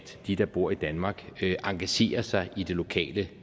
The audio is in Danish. de der bor i danmark engagerer sig i det lokale